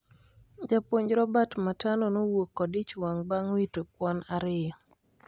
japuonj Robert Matano nowuok kod ich wang bang wito kwan ariyo